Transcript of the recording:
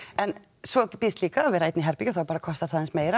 en svo býðst líka að vera einn í herbergi þá bara kostar það aðeins meira